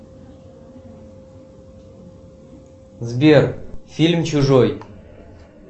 сбер фильм чужой